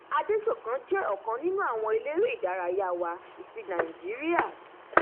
adesokan jẹ ọkan nínú àwọn eléré ìdárayá wa tí nàìjíríà